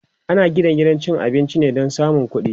ana Gina gidan cin abinci ne Dan samun ƙuɗi